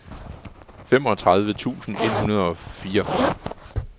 femogtredive tusind et hundrede og fireogfyrre